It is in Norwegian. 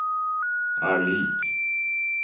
er lik